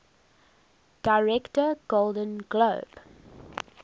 director golden globe